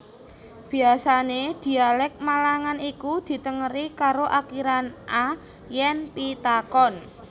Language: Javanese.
Biasane dhialek Malangan iku ditengeri karo akhiran a yen pitakon